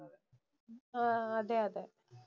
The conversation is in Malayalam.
ആഹ് അതേയതെ.